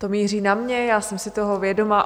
To míří na mě, já jsem si toho vědoma.